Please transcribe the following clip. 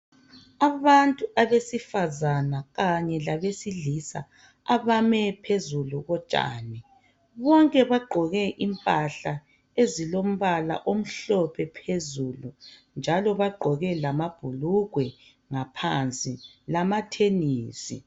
Abantu abesifazana kanye labesilisa abame phezulu kotshani, bonke bagqoke impahla ezilombala omhlophe phezulu njalo bagqoke lamabhulugwe ngaphansi lamathenisi.